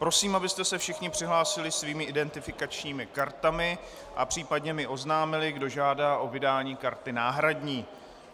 Prosím, abyste se všichni přihlásili svými identifikačními kartami a případně mi oznámili, kdo žádá o vydání karty náhradní.